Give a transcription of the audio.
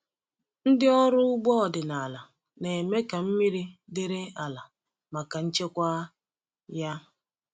Ndị ọrụ ugbo ọdịnala na-eme ka mmiri dịrị ala maka nchekwa ya.